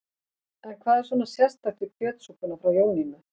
En hvað er svona sérstakt við kjötsúpuna frá Jónínu?